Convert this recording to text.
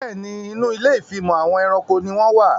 Bẹ́ẹ̀ni, Inú ilé ìfimọ̀ àwọn ẹranko ni wón wà